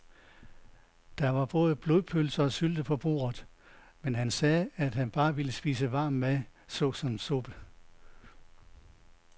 Der var både blodpølse og sylte på bordet, men han sagde, at han bare ville spise varm mad såsom suppe.